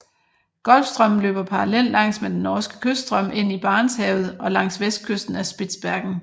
Golfstrømmen løber parallelt langs med den norske kyststrøm ind i Barentshavet og langs vestkysten af Spitsbergen